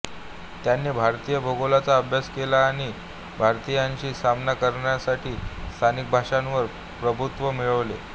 त्यांनी भारतीय भूगोलाचा अभ्यास केला आणि भारतीयांशी सामना करण्यासाठी स्थानिक भाषांवर प्रभुत्व मिळवले